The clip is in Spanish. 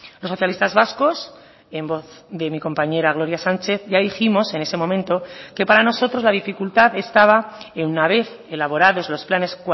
los socialistas vascos en voz de mi compañera gloria sánchez ya dijimos en ese momento que para nosotros la dificultad estaba en una vez elaborados los planes